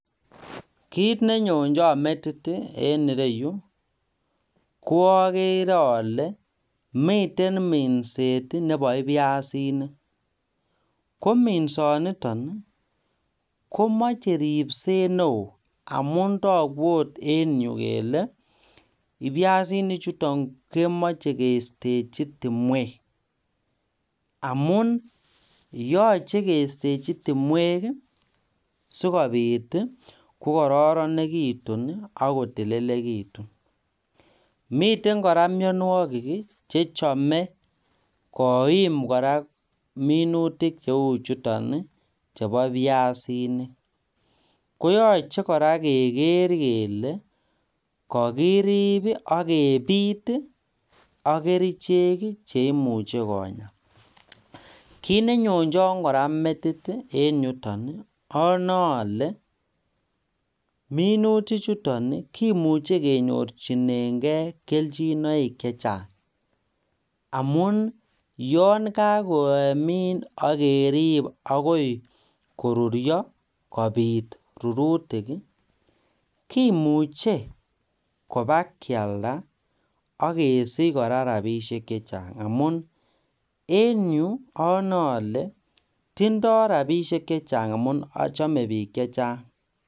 Kit nyonjon metit en ireyu koogeere ole miten minset nebo ibyasinik kominsoniton komoche ripset neo amun toku ot en yu kele ibyasinichuton kemochekeisteji timwek amun yoje keisteji timwek sikobit kokororonekitun ak kotililekitun miten kora mionwoki chechome koim kora minutik cheuchuton chebo ibyasinik koyoche kora kegeer kele kokirib ak kebiit ak kerichek cheimuche Konya kit nenyonjon kora metit en yuton onoeole minutichuton kimuche kenyorji engei keljinoik chechang amun yon kakomin ak kerib agoi koruryo akobiit rurutik kimuche kobakyalda ak kesich kora rapisiek chechang amun en yu onoe ale tindoi rapisiek chechang ak chome biik chechang